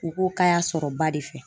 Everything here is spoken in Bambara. U ko k'a y'a sɔrɔ ba de fɛ